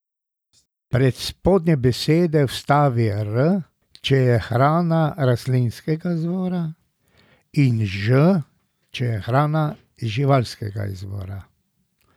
Pred spodnje besede vstavi R, če je hrana rastlinskega izvora, in Ž, če je hrana živalskega izvora.